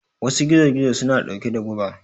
Wasu gizo gizo suna ɗauke da guba